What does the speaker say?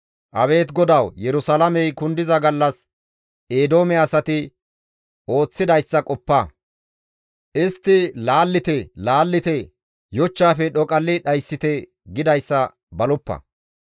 Abeet GODAWU! Yerusalaamey kundiza gallas Eedoome asati ooththidayssa qoppa; istti, «Laallite! Laallite! Yochchaafe dhoqalli dhayssite!» gidayssa baloppa.